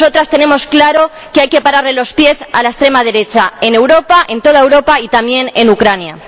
Tenemos claro que hay que pararle los pies a la extrema derecha en toda Europa y también en Ucrania.